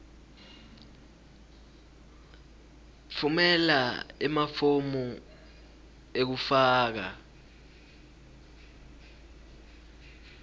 tfumela emafomu ekufaka